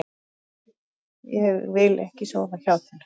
Nei, ég vil ekki sofa hjá þér.